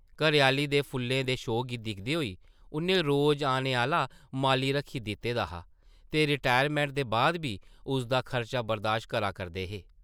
घरै-आह्ली दे फुल्लें दे शौक गी दिखदे होई उʼन्नै रोज औने आह्ला माली रक्खी दित्ते दा हा ते रिटायरमैंट दे बाद बी उसदा खर्चा बरदाश्त करा करदे हे ।